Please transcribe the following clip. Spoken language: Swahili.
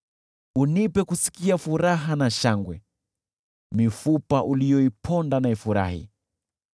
Unipe kusikia furaha na shangwe, mifupa uliyoiponda na ifurahi.